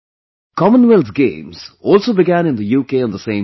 Commonwealth Games also began in the UK on the same day